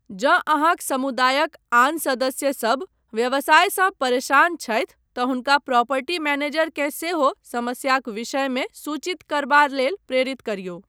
जँ अहाँक समुदायक आन सदस्यसभ व्यवसायसँ परेशान छथि तँ हुनका प्रॉपर्टी मैनेजरकेँ सेहो समस्याक विषयमे सूचित करबा लेल प्रेरित करियौ।